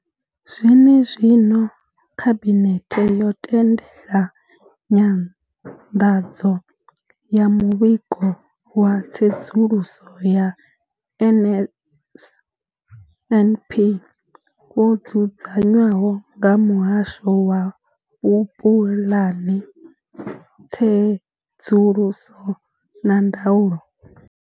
Zwenezwino, khabinethe yo tendela nyanḓadzo ya muvhigo wa tsedzuluso ya NSNP wo dzudzanywaho nga muhasho wa vhupulani, tsedzuluso na ndaulo.